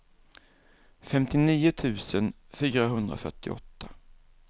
femtionio tusen fyrahundrafyrtioåtta